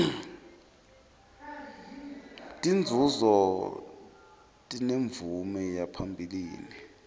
tinzunzo tinemvume yaphambilini